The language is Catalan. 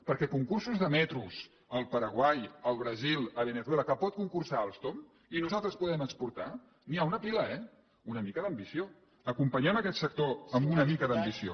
perquè de concursos de metros al paraguai al brasil a veneçuela en què pot concursar alstom i que nosaltres podem exportar n’hi ha una pila eh una mica d’ambició acompanyem aquest sector amb una mica d’ambició